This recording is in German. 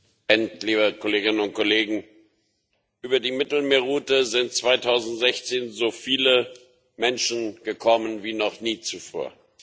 Herr Präsident, liebe Kolleginnen und Kollegen! Über die Mittelmeerroute sind 2016 so viele Menschen gekommen wie noch nie zuvor.